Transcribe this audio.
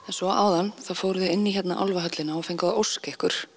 en svo áðan fóruð þið inn í álfahöllina hérna og fenguð að óska ykkur